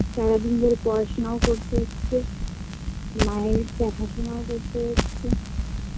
সারাদিন ধরে পড়াশোনাও করতে হচ্ছে মা এর দেখাশোনাও করতে হচ্ছে